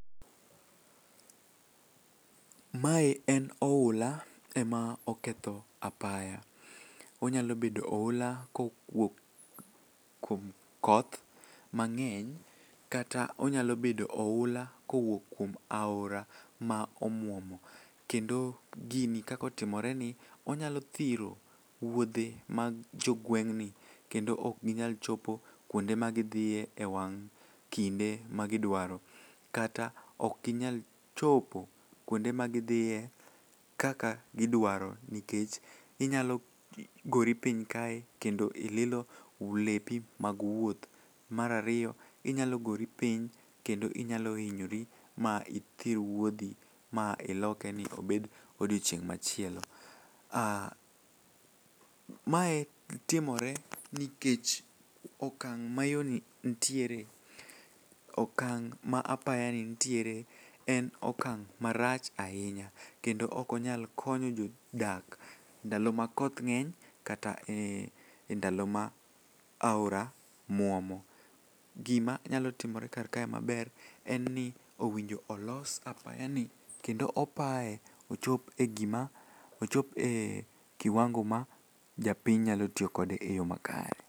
Mae en oula ema oketho apaya. Onyalo bedo oula kowuok kuom koth mang'eny kata onyalo bedo oula kowuok kuom aora ma omuomo, kendo gini kakotimoreni onyalo thiro wuodhe mag jogweng'ni kendo okginyal chopo kuonde magidhiye e wang' kinde magidwaro kata okginyal chopo kuonde magidhiye kaka gidwaro nikech inyalo gori piny kae kendo ililo lepi mag wuoth. Mar ariyo inyalo gori piny kendo inyalo hinyore ma ithir wuodhi ma iloke ni obed odiechieng' machielo. Ah, mae timore nikech okang' ma yoni ntiere okang' ma apayani nitiere en okang' marach ahinya kendo okonyal konyo jodak ndalo ma koth ng'eny kata e ndalo ma aora muomo. Gimanyalo timore karkae maber en ni owinjo olos apaya ni kendo opaye ochop e kiwango ma japiny nyalo tiyo kode e yo makare.